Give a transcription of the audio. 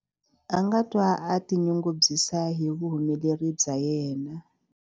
A nga twa a tinyungubyisa hi vuhumeleri bya yena.